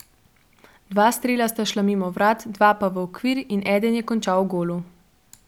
Dva strela sta šla mimo vrat, dva pa v okvir in eden je končal v golu.